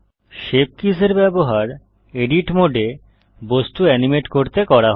shape keys এর ব্যবহার edit মোডে বস্তু অ্যানিমেট করতে করা হয়